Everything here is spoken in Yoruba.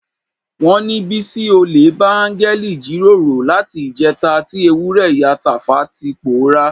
Wọ́n ní Bísí olè bá áńgẹ́lì jíròrò láti ìjẹta tí ewúrẹ́ ìyá Tàfá ti pòórá.